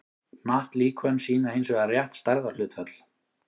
hnattlíkön sýna hins vegar rétt stærðarhlutföll